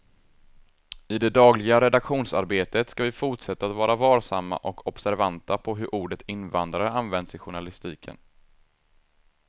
I det dagliga redaktionsarbetet ska vi fortsätta att vara varsamma och observanta på hur ordet invandrare används i journalistiken.